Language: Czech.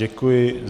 Děkuji.